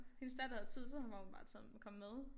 Hendes datter havde tid så var hun bare taget kommet med